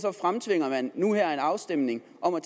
fremtvinger man nu her en afstemning om at